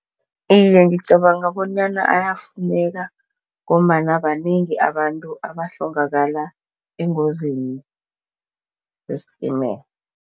Iye, ngicabanga bonyana ayafuneka ngombana banengi abantu abahlongakala engozini zesistimela.